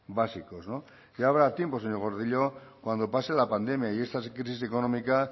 básicos ya habrá tiempo señor gordillo cuando pase la pandemia y esta crisis económica